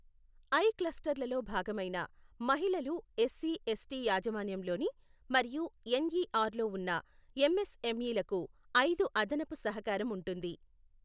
I క్లస్టర్లలో భాగమైన, మహిళలు ఎస్సీ ఎస్టీ యాజమాన్యంలోని మరియు ఎన్ఈఆర్లో ఉన్న ఎంఎస్ఎంఈలకు ఐదు అదనపు సహకారం ఉంటుంది.